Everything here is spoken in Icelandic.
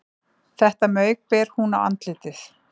Þetta mauk ber hún á andlitið